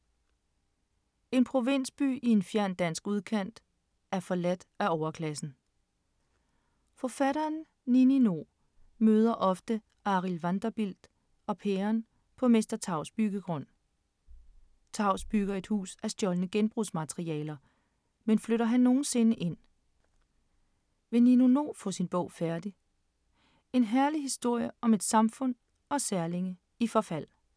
En provinsby i en fjern dansk udkant er forladt af overklassen. Forfatteren Nini No møder ofte Arild, Vanderbilt og Pæren på Mester Tavs byggegrund. Tavs bygger et hus af stjålne genbrugsmaterialer, men flytter han nogensinde ind? Vil Nini No få sin bog færdig? En herlig historie om et samfund og særlinge i forfald.